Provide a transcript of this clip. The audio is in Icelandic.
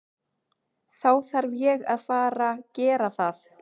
Þá þarf ég að fara gera það.